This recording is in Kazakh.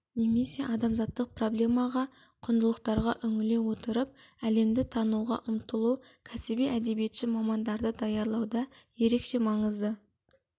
немесе адамзаттық проблемаға құндылықтарға үңіле отырып әлемді тануға ұмтылу кәсіби әдебиетші мамандарды даярлауда ерекше маңызды